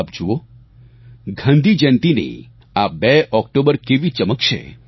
આપ જુઓ ગાંધીજયંતીની આ 2 ઓક્ટોબર કેવી ચમકશે